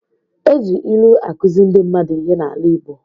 E ji ilu akuzi ndị mmadụ ihe n'ala igbo.